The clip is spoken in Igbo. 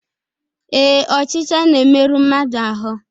ee, ọchịcha na-emerụ mmadụ ahụ́